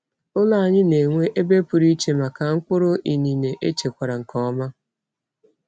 Ụlọ anyị na-enwe ebe pụrụ iche maka mkpụrụ inine echekwara nke ọma.